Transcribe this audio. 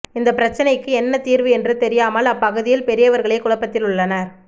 இந்த பிரச்சனைக்கு என்ன தீர்வு என்று தெரியாமல் அப்பகுதி பெரியவர்களே குழப்பத்தில் உள்ளனர்